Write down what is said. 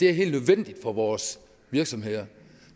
er helt nødvendigt for vores virksomheder